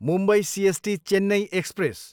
Mumbai CST, Chennai express